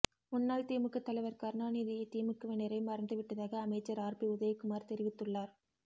முன்னாள் திமுக தலைவர் கருணாநிதியை திமுகவினரே மறந்து விட்டதாக அமைச்சர் ஆர்பி உதயகுமார் தெரிவித்துள்ளார்